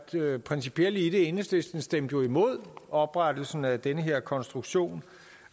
principielle i det enhedslisten stemte jo imod oprettelsen af den her konstruktion